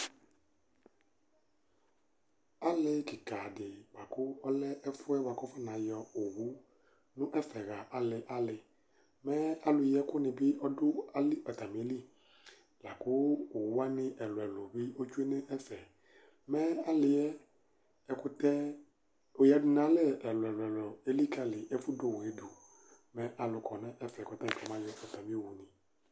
Alí kikã di laku ɔlɛ ɛfu yɛ ku akuna yɔ owu nu ɛfɛ ɣa ali ali Mɛ ãlu yi ɛku ni bi amih atamili Laku owu waní ɛluɛlu ɔtsue nu ɛfɛ Mɛ ali yɛ ɛkutɛ ɔyaɖunalɛ ɛluɛlu elikali ɛfu du owu yɛ du Mɛ ãlu kɔ nu ɛfɛ ku ɔtani kɔma yɔ ɔtami owu ni